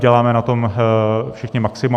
Děláme na tom všichni maximum.